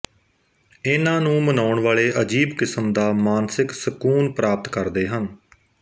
ਇਹਨਾਂ ਨੂੰ ਮਨਾਉਣ ਵਾਲੇ ਅਜੀਬ ਕਿਸਮ ਦਾ ਮਾਨਸਿਕ ਸਕੂਨ ਪ੍ਰਾਪਤ ਕਰਦੇ ਹਨ